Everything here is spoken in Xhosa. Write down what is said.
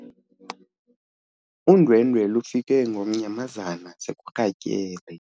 Undwendwe lufike ngomnyamazana sekurhatyele.